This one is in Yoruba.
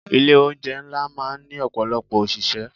Ilé oúnjẹ ńlá máa ń ní ọ̀pọ̀lọpọ̀ òṣìṣẹ́.